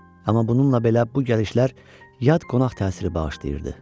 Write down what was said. Amma bununla belə bu gəlişlər yad qonaq təsiri bağışlayırdı.